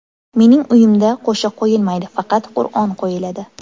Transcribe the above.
Mening uyimda qo‘shiq qo‘yilmaydi, faqat Qur’on qo‘yiladi.